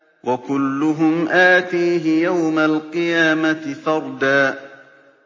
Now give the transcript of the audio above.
وَكُلُّهُمْ آتِيهِ يَوْمَ الْقِيَامَةِ فَرْدًا